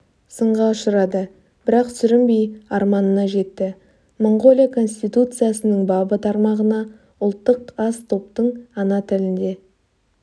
сынға ұшырады бірақ сүрінбей арманына жетті моңғолия конституциясының бабы тармағына ұлттық аз топтың ана тілінде